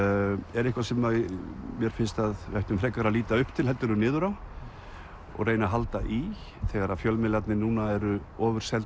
er eitthvað sem mér finnst að við ættum frekar að líta upp til heldur en niður á og reyna að halda í þegar fjölmiðlarnir núna eru ofurseldir